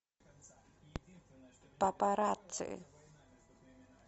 папарацци